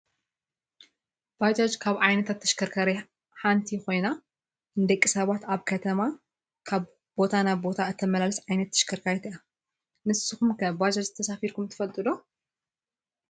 ባጃጅ ካብ ዓይነታት ተሽከርከርቲ ሓንቲ ኮይና ንደቂ ሰባት ኣብ ከተማ ካብ ቦታ ናብ ቦታ እተመላልስ ዓይነት ተሽከርካሪት እያ። ንስኩም ከ ባጃጅ ተሳፊርኩም ዶ ትፈልጡ ?